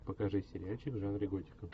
покажи сериальчик в жанре готика